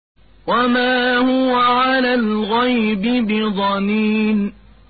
وَمَا هُوَ عَلَى الْغَيْبِ بِضَنِينٍ